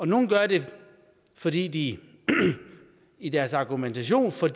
nogle gør det fordi de i deres argumentation for